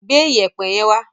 Gbé Iyẹ̀pẹ̀ yẹn wá!